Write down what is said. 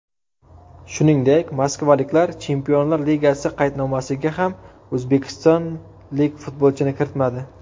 Shuningdek, moskvaliklar Chempionlar Ligasi qaydnomasiga ham o‘zbekistonlik futbolchini kiritmadi.